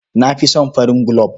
Na fi son farin gulob.